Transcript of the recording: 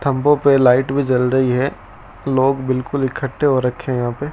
खंभों पे लाइट भी जल रही है लोग बिल्कुल इकट्ठे हो रखे हैं यहां पे।